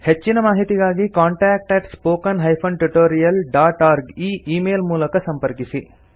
ಹೆಚ್ಚಿನ ಮಾಹಿತಿಗಾಗಿ contactspoken tutorialorg ಈ ಈ ಮೇಲ್ ಮೂಲಕ ಸಂಪರ್ಕಿಸಿ